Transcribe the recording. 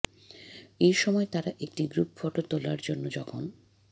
এ সময় তারা একটি গ্রুপ ফটো তোলার জন্য যখন